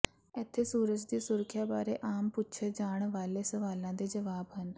ਇੱਥੇ ਸੂਰਜ ਦੀ ਸੁਰੱਖਿਆ ਬਾਰੇ ਆਮ ਪੁੱਛੇ ਜਾਣ ਵਾਲੇ ਸਵਾਲਾਂ ਦੇ ਜਵਾਬ ਹਨ